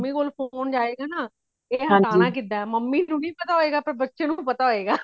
mummy ਕੋਲ phone ਜਾਏਗਾ ਨਾ, ਇਹ ਹਟਾਨਾ ਕਿਦਾਂ ਹੇ mummy ਨੂੰ ਨਹੀਂ ਪਤਾ ਪਾਰ ਬੱਚੇ ਨੂੰ ਪਤਾ ਹੋਇਗਾ।